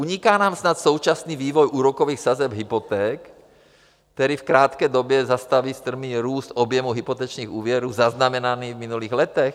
Uniká nám snad současný vývoj úrokových sazeb hypoték, který v krátké době zastaví strmý růst objemu hypotečních úvěrů zaznamenaný v minulých letech?